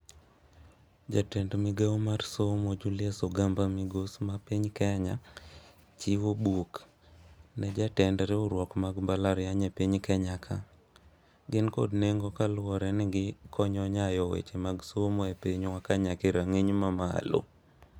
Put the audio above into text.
Jatend migao mar somo Julius Ogamba migos ma piny Kenya chiwo buk ne jatend riwruok mag mbalariany e piny Kenya ka. Gin kod nengo kaluwore ni gikonyo nyayo weche mag somo e pinywa ka nyake rang'iny ma malo.